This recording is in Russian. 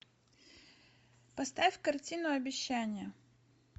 поставь картину обещания